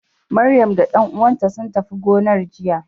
Maryam da ƴan uwanta sun tafi gonar jiya.